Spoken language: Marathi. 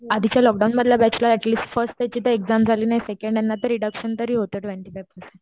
आदींच्या लॉकडडाऊन मधल्या बॅच ला अटलिस्ट फर्स्ट याची तर एक्साम झाली नाही सेकंड यांना रीडकशन तरी हो ट्वेन्टी फाईव्ह पर्सेंट.